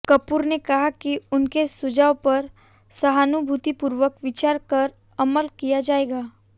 कपूर ने कहा कि उनके सुझावों पर सहानुभूतिपूर्वक विचार कर अमल किया जाएगा